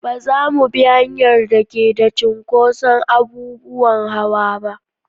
Ba za mu bi hanyar da ke da cinkoson abubuwan hawa ba.